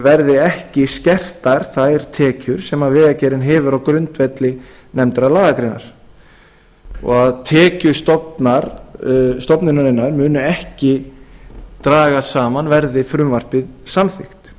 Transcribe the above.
verði ekki skertar þær tekjur sem vegagerðin hefur á grundvelli nefndrar lagagreinar og tekjur stofnunarinnar muni ekki dragast saman verði frumvarpið samþykkt